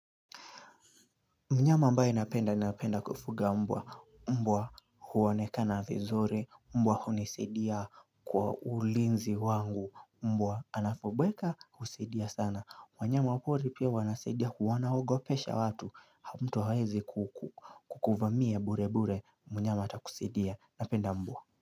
Mnyama ambaye napenda, napenda kufuga mbwa, mbwa huonekana vizuri, mbwa hunisaidia kwa ulinzi wangu, mbwa anapobweka, husaidia sana. Wanyama wa pori pia wanasidia, huwa anaogo pesha watu, au mtu hawezi kukuvamia burebure, mnyama atakusaidia, napenda mbwa.